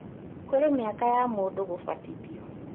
Kũrĩ mĩaka ya mũndũ gũbatithio